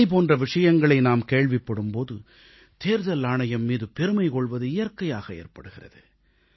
இவைபோன்ற விஷயங்களை நாம் கேள்விப்படும் போது தேர்தல் ஆணையம் மீது பெருமை கொள்வது இயற்கையாக ஏற்படுகிறது